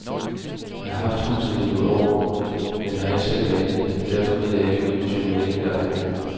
Jeg har haft huset i nogle år, men har ikke selv malet det, og derfor ved jeg ikke, hvilken type maling der er anvendt.